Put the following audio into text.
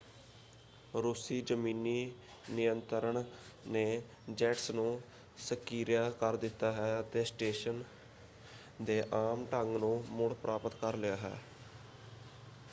ਰੂਸੀ ਜ਼ਮੀਨੀ ਨਿਯੰਤਰਣ ਨੇ ਜੈਟਸ ਨੂੰ ਸਕਿਰਿਆ ਕਰ ਦਿੱਤਾ ਹੈ ਅਤੇ ਸਟੇਸ਼ਨ ਦੇ ਆਮ ਢੰਗ ਨੂੰ ਮੁੜ-ਪ੍ਰਾਪਤ ਕਰ ਲਿਆ ਹੈ।